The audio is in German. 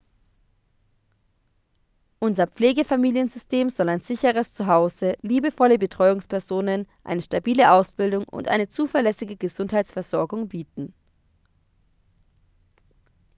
unser pflegefamiliensystem soll ein sicheres zu hause liebevolle betreuungspersonen eine stabile ausbildung und eine zuverlässige gesundheitsversorgung bieten